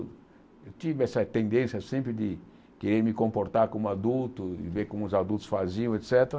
Eu tive essa tendência sempre de querer me comportar como adulto e ver como os adultos faziam, et cétera.